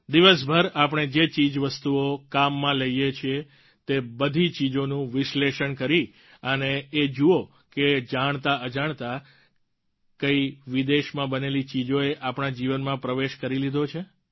દિવસભર આપણે જે ચીજવસ્તુઓ કામમાં લઈએ છીએ તે બધી ચીજોનું વિશ્લેષણ કરી અને એ જુઓ કે જાણતાઅજાણતા કઈ વિદેશમાં બનેલી ચીજોએ આપણા જીવનમાં પ્રવેશ કરી લીધો છે